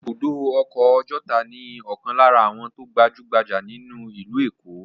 Ibùdó ọkọ̀ Ọjọ́ta ni ọ̀kan lára àwọn tó gbajú-gbajà nílùú Èkó.